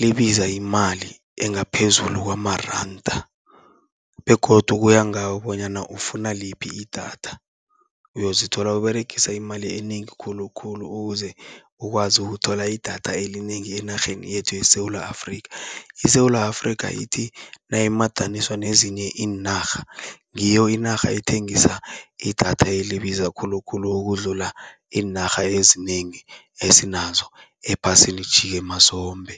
libiza imali engaphezulu kwamaranda begodu kuya ngawe bonyana ufuna liphi idatha. Uyozithola uberegisa imali enengi khulukhulu, ukuze ukwazi ukuthola idatha elinengi enarheni yethu yeSewula Afrika. ISewula Afrika, ithi nayimadaniswa nezinye iinarha ngiyo inarha ethengisa idatha elibiza khulukhulu, ukudlula iinarha ezinengi esinazo ephasini mazombe.